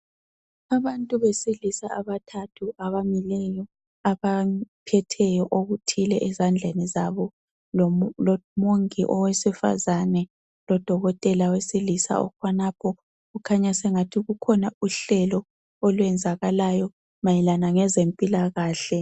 abantu besilisa abathathu abamileyo abaphetheyo okuthile ezandleni zabo lo mongi owesifazana lodokotela owesilisa ume khonapho kukhanya sengathi kukhona uhlelo lwenzekalayo mayelana lezempilakhle